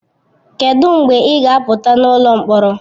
Kedụ mgbe ị ga apụta n'ụlọ mkpọrọ?